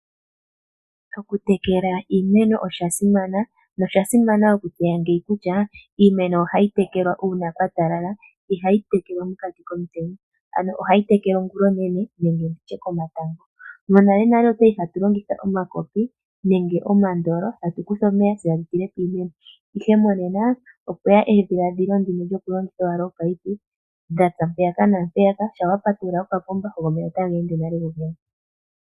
Okutekela iimeno osha simana nosha simana okutseya ngeyi kutya, iimeno ohayi tekelwa uuna kwa talala ihe ihayi tekelwa mokati komutenya, ano ohayi tekelwa ongulonene nenge nditye komatango. Monalenale otwa li hatu longitha omakopi nenge omandolo tatu kutha omeya, tse tatu tile piimeno ihe monena opwe ya edhiladhilo ndino lyoku longitha ominino dhatsa mpeyaka naampeyaka, shaa wa patulula okapomba go omeya otaga ende nale ku gogene.